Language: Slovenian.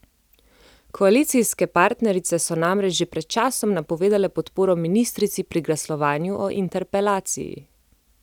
Koalicijske partnerice so namreč že pred časom napovedale podporo ministrici pri glasovanju o interpelaciji.